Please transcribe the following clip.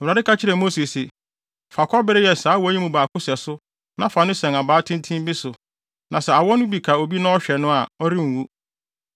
Awurade ka kyerɛɛ Mose se, “Fa kɔbere yɛ saa awɔ yi mu baako sɛso na fa no sɛn abaa tenten bi so, na sɛ awɔ no bi ka obi na ɔhwɛ no a, ɔrenwu.”